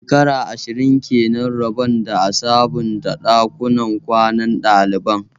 Shekara ashirin kenan rabon da a sabunta ɗakunan kwanan ɗaliban